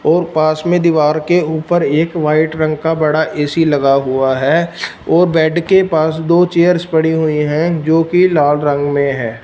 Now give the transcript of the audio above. और पास में दीवार के ऊपर एक व्हाइट रंग का बड़ा ए_सी लगा हुआ है और बेड के पास दो चेयर्स पड़ी हुई है जो की लाल रंग में हैं।